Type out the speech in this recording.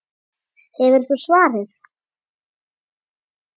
Hefur þú svarið?